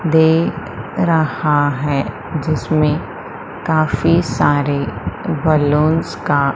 देख रहा है जिसमें काफी सारे बलूंस का--